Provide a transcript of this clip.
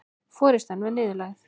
Forystan var niðurlægð